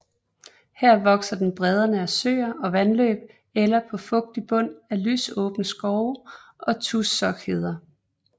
Her vokser den bredderne af søer og vandløb eller på fugtig bund i lysåbne skove og tussockheder